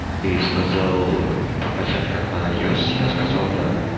и сказал показать как на айос я сказал да